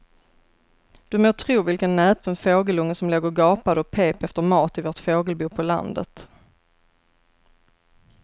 Du må tro vilken näpen fågelunge som låg och gapade och pep efter mat i vårt fågelbo på landet.